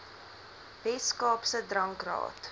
wes kaapse drankraad